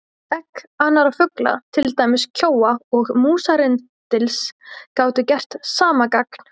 Egg annarra fugla, til dæmis kjóa og músarrindils, gátu gert sama gagn.